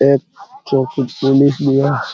एक चौकी पुलिस भी है ।